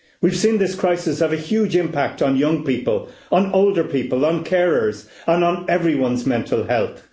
We've seen this crisis have a huge impact on young people, on older people, on carers, and on everyone's mental health.